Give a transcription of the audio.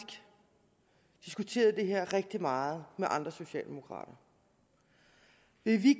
diskuteret det her rigtig meget med andre socialdemokrater vil vi